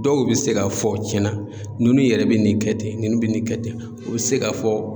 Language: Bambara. Dɔw bɛ se k'a fɔ tiɲɛna nunnu yɛrɛ bɛ nin kɛ ten, ninnu bɛ nin kɛ ten, u bɛ se k'a fɔ